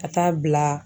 Ka taa bila